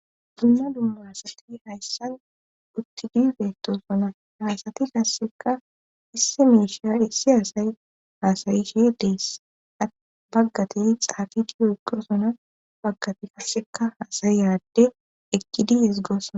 Dumma dumma asati hayssan uttidifetosona haasati kasseka issi muushiya issi aasay haasayi shi deess a baggati xaafiti oyqirosona baggati kasseka haasayi eradde eqqi dies goossna